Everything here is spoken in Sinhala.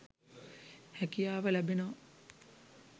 හැකියාව ලැබෙනවා.